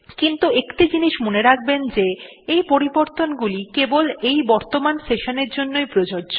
কিন্তু একটি জিনিস মনে রাখবেন যে এই পরিবর্তনগুলি কেবল এই বর্তমান session এর জন্য প্রযোজ্য